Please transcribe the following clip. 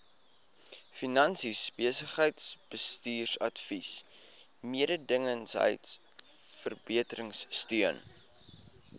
finansies besigheidsbestuursadvies mededingendheidsverbeteringsteun